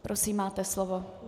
Prosím, máte slovo.